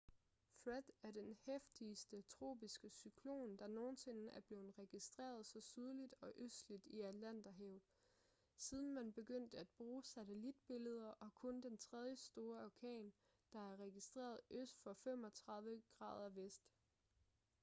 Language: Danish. fred er den heftigste tropiske cyklon der nogensinde er blevet registreret så sydligt og østligt i atlanterhavet siden man begyndte at bruge satellitbilleder og kun den tredje store orkan der er registreret øst for 35°v